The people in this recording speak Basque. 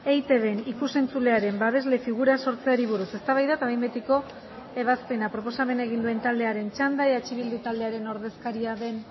eitbn ikus entzulearen babesle figura sortzeari buruz eztabaida eta behin betiko ebazpena proposamena egin duen taldearen txanda eh bildu taldearen ordezkaria den